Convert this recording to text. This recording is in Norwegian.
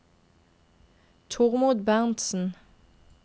Tormod Berntzen